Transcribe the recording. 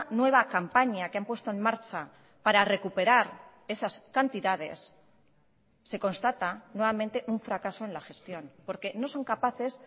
nueva campaña que han puesto en marcha para recuperar esas cantidades se constata nuevamente un fracaso en la gestión porque no son capaces